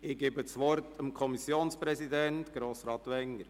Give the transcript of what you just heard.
Ich erteile das Wort dem Kommissionspräsidenten, Grossrat Wenger.